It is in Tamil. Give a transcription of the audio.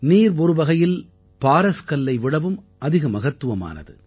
நீர் ஒரு வகையில் பாரஸ் கல்லை விடவும் அதிக மகத்துவமானது